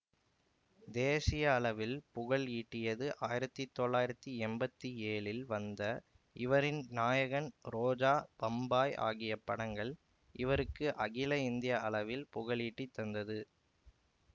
தேசிய அளவில் புகழ் ஈட்டியது ஆயிரத்தி தொள்ளாயிரத்தி எம்பத்தி ஏழில் வந்த இவரின் நாயகன் ரோஜா பம்பாய் ஆகிய படங்கள் இவருக்கு அகில இந்திய அளவில் புகழீட்டி தந்தது